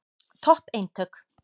Topp eintök.